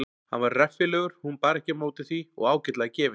Hann var reffilegur hún bar ekki á móti því og ágætlega gefinn.